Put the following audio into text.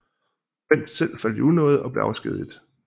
Wendt selv faldt i unåde og blev afskediget